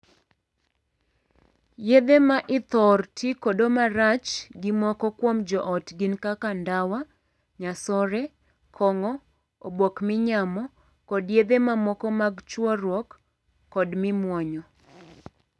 Yedhe ma ithor tii godo marach gi moko kuom joot gin kaka ndawa, nyasore, kong'o, obok minyamo, kod yedhe mamoko mag chuoruok kod mimuonyo.